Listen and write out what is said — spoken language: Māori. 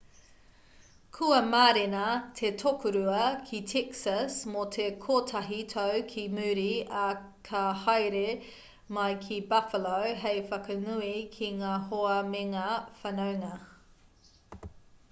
kua mārena te tokorua ki texas mō te kotahi tau ki muri ā ka haere mai ki buffalo hei whakanui ki ngā hoa mengā whanaunga